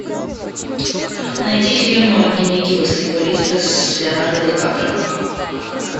найди фильм дневники баскетболиста с леонардо ди каприо